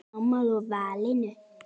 Ertu sammála valinu?